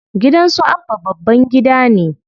Gidan su Abba babban gida ne.